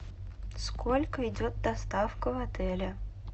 сколько идет доставка в отеле